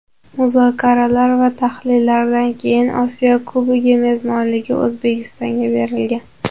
Muzokaralar va tahlillardan keyin Osiyo Kubogi mezbonligi O‘zbekistonga berilgan.